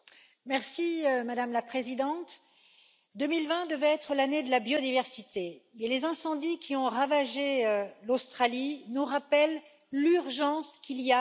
Madame la Présidente, 2020 devait être l'année de la biodiversité mais les incendies qui ont ravagé l'Australie nous rappellent l'urgence qu'il y a à agir.